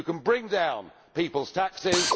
You can bring down people's taxes.